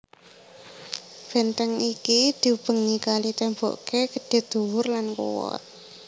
Benteng iki diubengi kali temboke gedhe dhuwur lan kuwat